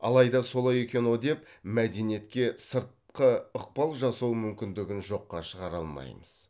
алайда солай екен ау деп мәдениетке сыртқы ықпал жасау мүмкіндігін жоққа шығара алмаймыз